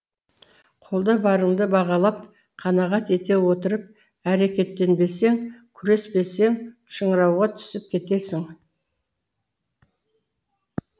қолда барыңды бағалап қанағат ете отырып әрекеттенбесең күреспесең шыңырауға түсіп кетесің